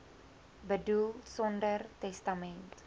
boedel sonder testament